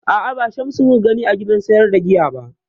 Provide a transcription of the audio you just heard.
A'a, ba Shamsu mu ka gani a gidan sayar da giya ba